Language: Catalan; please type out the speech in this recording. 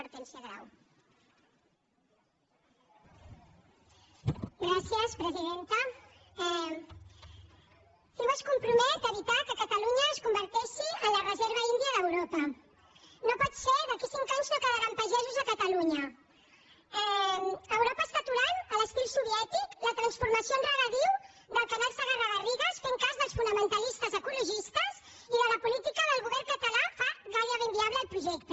ciu es compromet a evitar que catalunya es converteixi en la reserva índia d’europa no pot ser d’aquí a cinc anys no quedaran pagesos a catalunya europa està aturant a l’estil soviètic la transformació en regadiu del canal segarra garrigues fent cas dels fonamentalistes ecologistes i la política del govern català fa gairebé inviable el projecte